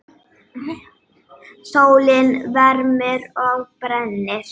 Sólin vermir og brennir.